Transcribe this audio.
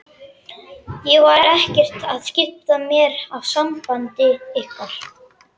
Ég var ekkert að skipta mér af sambandi ykkar!